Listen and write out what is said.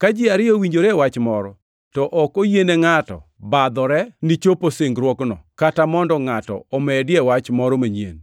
Ka ji ariyo owinjore e wach moro, to ok oyiene ngʼato badhore ni chopo singruokno kata mondo ngʼato omedie wach moro manyien.